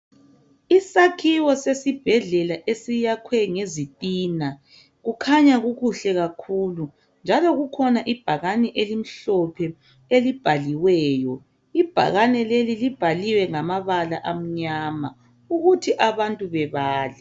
Isakhiwo sesibhedlela esiyakhwe ngezitina kukhanya kukuhle kakhulu njalo kukhona ibhakane elimhlophe elibhaliweyo ibhakane leli libhaliwe ngamabala amnyama ukuthi abantu bebale.